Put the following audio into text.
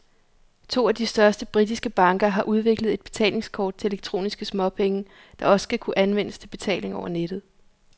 To af de største britiske banker har udviklet et betalingskort til elektroniske småpenge, der også skal kunne anvendes til betaling over nettet.